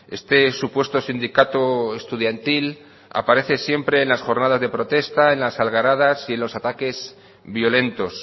este supuesto sindicato estudiantil aparece siempre en las jornadas de protesta en las algaradas y en los ataques violentos